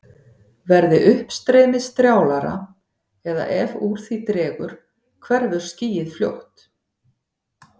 Verði uppstreymið strjálara eða ef úr því dregur hverfur skýið fljótt.